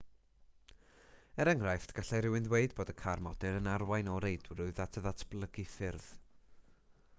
er enghraifft gallai rhywun ddweud bod y car modur yn arwain o reidrwydd at ddatblygu ffyrdd